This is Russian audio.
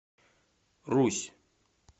русь